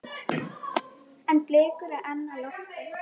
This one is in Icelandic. En blikur eru á lofti.